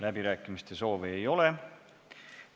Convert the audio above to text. Läbirääkimiste soovi ei ole.